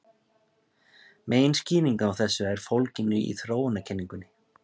Meginskýringin á þessu er fólgin í þróunarkenningunni.